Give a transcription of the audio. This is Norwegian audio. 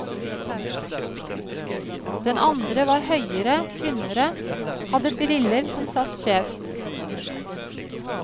Den andre var høyere, tynnere, hadde briller som satt skeivt.